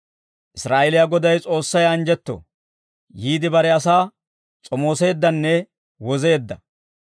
«Israa'eeliyaa Goday S'oossay anjjetto; yiide bare asaa s'omooseeddanne wozeedda.